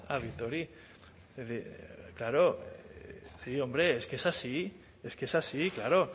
a bitori es decir claro sí hombre es que es así es que es así claro